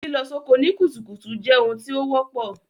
Lílọ soko ni kùtùkùtù je oun tí o wọ́pọ̀